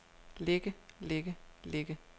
ligge ligge ligge